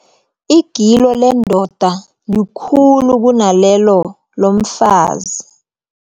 Igilo lendoda likhulu kunalelo lomfazi.